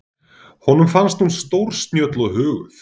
Honum finnst hún stórsnjöll og huguð.